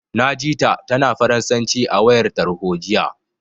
Na ji ta, tana Faransanci a wayar tarho, jiya.